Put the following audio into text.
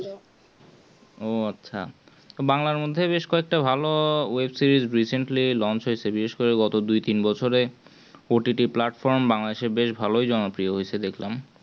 ও আচ্ছা বাংলার মধ্যে বেশ কয়েকটা ভালো web-series recently launch হয়েছে গত দুই তিন বছরে OTTplatformBangladesh বেশ ভালই জনপ্রিয় হয়েছে দেখলাম